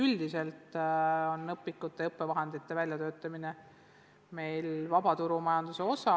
Üldiselt on õpikute ja õppevahendite väljatöötamine meil vaba turumajanduse osa.